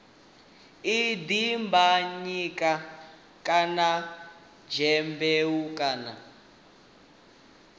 ha dimbanyika kana dyambeu kana